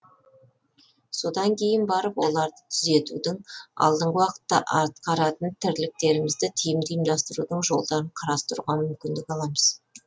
содан кейін барып оларды түзетудің алдағы уақытта атқаратын тірліктерімізді тиімді ұйымдастырудың жолдарын қарастыруға мүмкіндік аламыз